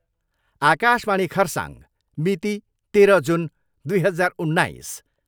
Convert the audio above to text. आकाशवाणी खरसाङ, मिति, तेह्र जुन दुई हजार उन्नाइस।